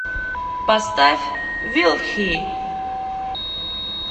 поставь вил хи